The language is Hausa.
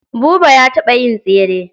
Buba ya taɓa yin tesre.